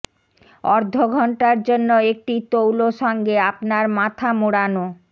অর্ধ ঘন্টার জন্য একটি তৌল সঙ্গে আপনার মাথা মোড়ানো